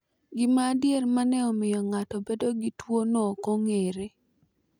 Gima adier ma ne omiyo ng’ato bedo gi tuwono ok ong’ere.